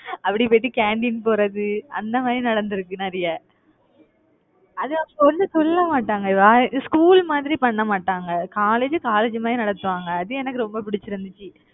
அப்படி போயிட்டு canteen போறது அந்த மாதிரி நடந்திருக்கு நிறைய. அது வந்து ஒண்ணும் சொல்ல மாட்டாங்க school மாதிரி, பண்ண மாட்டாங்க. college college மாதிரி நடத்துவாங்க. அது எனக்கு ரொம்ப பிடிச்சிருந்துச்சு